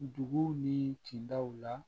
Dugu ni cindaw la